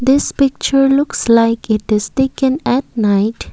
This picture looks like a it is taken at night.